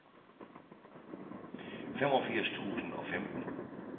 femogfirs tusind og femten